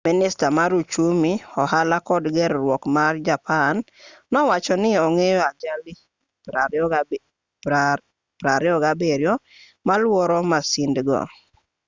minista mar uchumi ohala kod ger-ruok ma japan nowacho ni ong'eyo ajali 27 maluoro masindgo